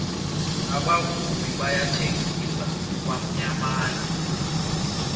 abavumi bayathengisa kwamyamana